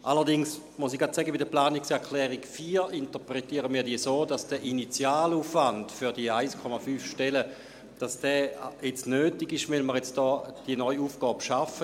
Allerdings muss ich gleich sagen, dass wir die Planungserklärung 4 so interpretieren, dass der Initialaufwand für die 1,5 Stellen jetzt notwendig ist, weil wir hier diese neue Aufgabe schaffen.